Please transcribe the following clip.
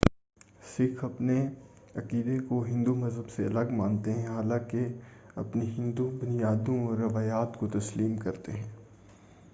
سکھ اپنے عقیدے کو ہندو مذہب سے الگ مانتے ہیں حالانکہ اپنی ہندو بنیادوں اور روایات کو تسلیم کرتے ہیں